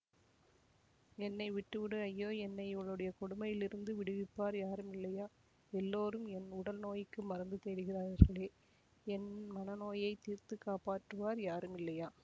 என்னைவிட்டுவிடு ஐயோ என்னை இவளுடைய கொடுமையிலிருந்து விடுவிப்பார் யாருமில்லையா எல்லோரும் என் உடல் நோய்க்கு மருந்து தேடுகிறார்களே என் மன நோயை தீர்த்து காப்பாற்றுவார் யாரும் இல்லையா